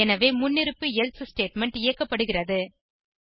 எனவே முன்னிருப்பு else statement இயக்கப்படுகிறது